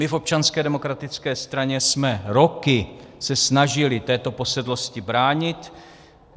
My v Občanské demokratické straně jsme se roky snažili této posedlosti bránit.